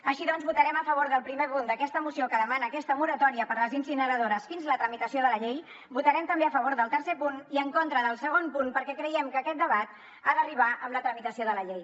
així doncs votarem a favor del primer punt d’aquesta moció que demana aquesta moratòria per a les incineradores fins la tramitació de la llei votarem també a favor del tercer punt i en contra del segon punt perquè creiem que aquest debat ha d’arribar amb la tramitació de la llei